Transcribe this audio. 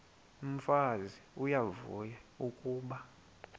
umfazi uyavuya kuba